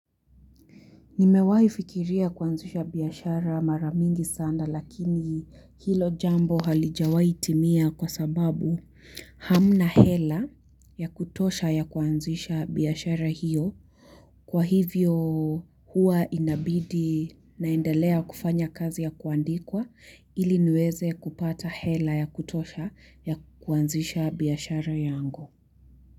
Nimewai fikiria kuanzisha biashara mara mingi sanda lakini hilo jambo halijawaitimia kwa sababu hamna hela ya kutosha ya kuanzisha biashara hiyo kwa hivyo hua inabidi naendelea kufanya kazi ya kuandikwa ili niweze kupata hela ya kutosha ya kuanzisha biashara yangu.